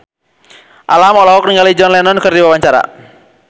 Alam olohok ningali John Lennon keur diwawancara